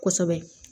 Kosɛbɛ